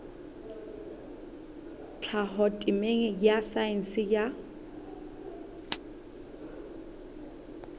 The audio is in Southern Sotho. tlhaho temeng ya saense ya